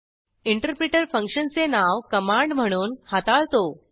interpreter फंक्शनचे नाव command म्हणून हाताळतो